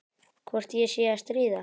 Hvort ég sé að stríða.